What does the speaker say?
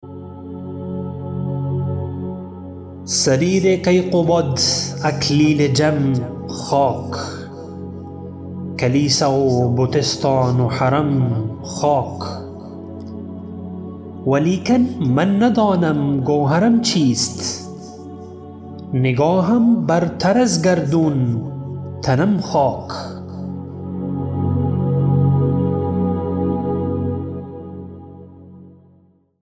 سریر کیقباد اکلیل جم خاک کلیسا و بتستان و حرم خاک ولیکن من ندانم گوهرم چیست نگاهم برتر از گردون تنم خاک